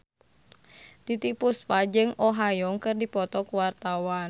Titiek Puspa jeung Oh Ha Young keur dipoto ku wartawan